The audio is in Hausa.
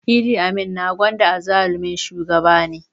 Idi Amin na Uganda azzalumin shugaba ne